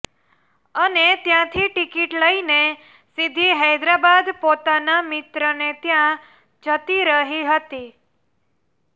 અને ત્યાંથી ટિકિટ લઈને સીધી હૈદરાબાદ પોતાના મિત્રને ત્યાં જતી રહી હતી